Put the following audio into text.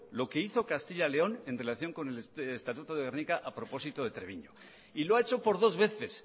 lo que hizo castilla león en relación con el estatuto de gernika a propósito de treviño y lo ha hecho por dos veces